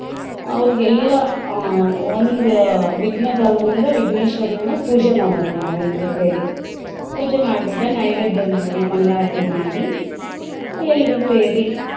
ಅವ್ರಿಗೆಲ್ಲಾ ಆಹ್ ಒಂದ ವಿಘ್ನ ಬರ್ದಂಗ ವಿಘ್ನೇಶ್ವರನನ್ನ ಪೂಜೆ ಮಾಡೋದು ನಾವ್ ಎಲ್ರ ಸೇರಿ ಪೂಜೆ ಮಾಡಿ ಬಿಟ್ಟ ನೈವೇದ್ಯ ಮಾಡಿ ಮಂಗಳಾರ್ತಿ ಮಾಡಿ ಎಲ್ರ ಸೇರಿ.